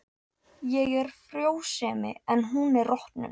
Ég er frjósemi en hún er rotnun.